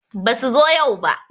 Basu zo yau ba